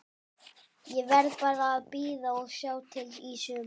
Ég verð bara að bíða og sjá til í sumar.